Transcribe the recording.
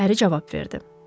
Əri cavab verdi.